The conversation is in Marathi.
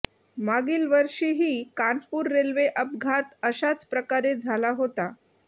मागील वर्षीही कानपूर रेल्वे अपघात अशाच प्रकारे झाला होता